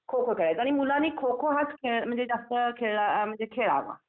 खो-खो खेळायचो आणि मुलांनी खो-खो हा म्हणजे जास्त खेळाला म्हणजे खेळावा